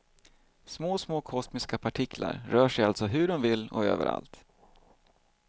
Små, små kosmiska partiklar rör sig alltså hur de vill och överallt.